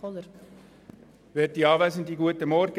Kommissionspräsident der GSoK.